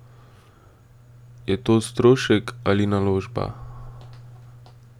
Je to strošek ali naložba?